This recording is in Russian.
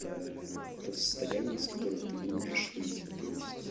та то состояние из которого ты не можешь выйти то есть